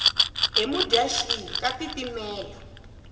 hi mudyaxihi ka tiitimela